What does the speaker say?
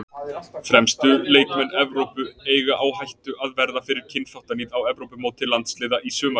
Fremstu leikmenn Evrópu eiga á hættu að verða fyrir kynþáttaníð á Evrópumóti landsliða í sumar.